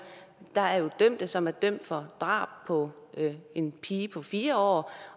der er jo dømte som er dømt for drab på en pige på fire år